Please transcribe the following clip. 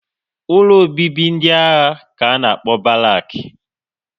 Ụlọ obibi ndị agha ka a na-akpọ Barak